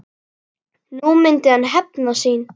Nú myndi hann hefna sín.